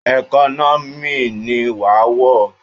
Ẹkọ́nọ́mì ni wàá wọ̀!